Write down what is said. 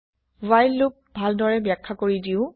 while loop ভালদৰে ব্যাখ্যা কৰি দিও